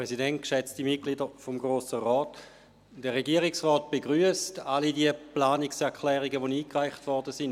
Der Regierungsrat begrüsst alle Planungserklärungen, welche eingereicht wurden.